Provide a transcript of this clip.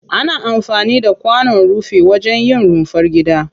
Ana amfani da kwanon rufi wajen yin rumfar gida.